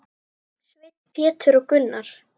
Sveinn, Pétur og Gunnar.